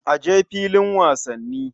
A je filin wasanni.